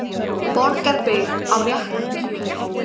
Borgarbyggð á réttan kjöl